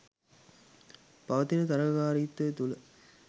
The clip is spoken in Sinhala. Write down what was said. පවතින තරගකාරීත්වය තුල